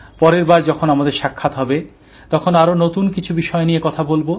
পরের বার যখন আমাদের সাক্ষাৎ হবে তখন আরো নতুন কিছু বিষয় নিয়ে কথা বলব